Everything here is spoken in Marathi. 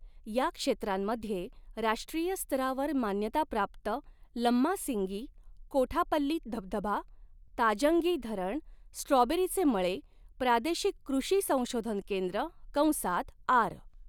या क्षेत्रांमध्ये राष्ट्रीय स्तरावर मान्यताप्राप्त लम्मासिंगी, कोठापल्ली धबधबा, ताजंगी धरण, स्ट्रॉबेरीचे मळे, प्रादेशिक कृषी संशोधन केंद्र कंसात आर.